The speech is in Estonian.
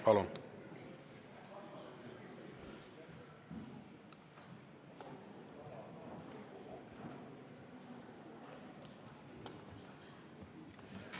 Palun!